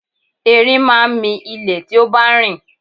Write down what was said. Ẹrin máa ń mi ilé tí ó bá ń rìn